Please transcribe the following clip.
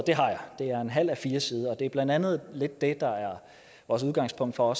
det har jeg det er en halv a4 side og det er blandt andet det der er vores udgangspunkt for